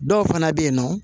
Dɔw fana bɛ yen nɔ